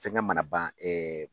Fɛnkɛ mana ban